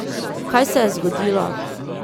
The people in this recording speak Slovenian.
Kaj se ji je zgodilo?